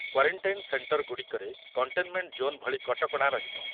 Quarantine centre ଗୁଡ଼ିକରେ containment zone ଭଳି କଟକଣା ରହିବ।